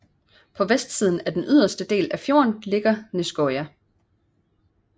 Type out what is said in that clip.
På vestsiden af den yderste del af fjorden ligger Nesøyna